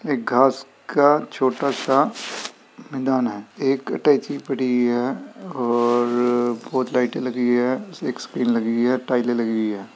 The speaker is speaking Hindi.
एक घास का छोटा सा मैदान है। एक अटैची पड़ी हुई है और अ बोहोत लाइटे एक स्क्रीन लगी हुई है। टाइले लगी हुई है।